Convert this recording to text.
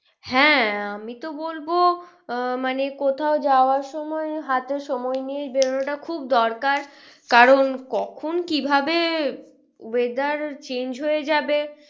হ্যাঁ আমি তো বলবো আহ মানে কোথাও যাওয়ার সময় হাতে সময় নিয়ে বেরো নাটা খুব দরকার। কারণ কখন কিভাবে weather change হয়ে যাবে।